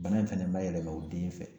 Bana in fɛnɛ ma yɛlɛma u den fɛ